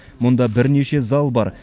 мұнда бірнеше зал бар